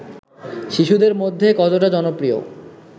শিশুদের মধ্যে কতটা জনপ্রিয়